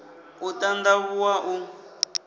u t and avhuwa u